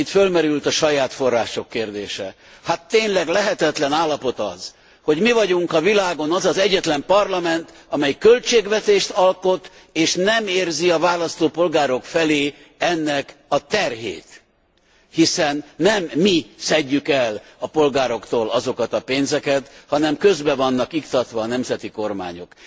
Itt fölmerült a saját források kérdése. Hát tényleg lehetetlen állapot az, hogy mi vagyunk a világon az az egyetlen parlament, amelyik költségvetést alkot és nem érzi a választópolgárok felé ennek a terhét, hiszen nem mi szedjük el a polgároktól azokat a pénzeket, hanem közbe vannak iktatva a nemzeti kormányok.